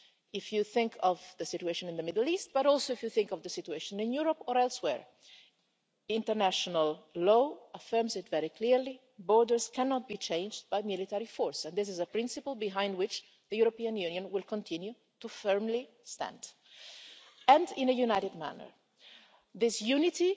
If you think of the situation in the Middle East, but also if you think of the situation in Europe or elsewhere, international law affirms it very clearly borders cannot be changed by military force and this is a principle behind which the European Union will continue to firmly stand in a united manner. I think this unity